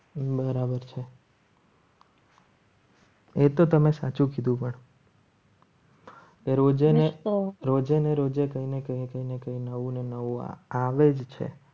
બરાબર છે એ તો તમે સાચું કીધુ પણ દરરોજે ને રોજે ને રોજે કહીને તેને નવું ને નવું આવે જ છે.